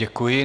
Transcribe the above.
Děkuji.